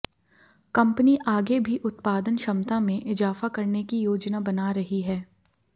company आगे भी उत्पादन क्षमता में इजाफा करने की योजना बना रही है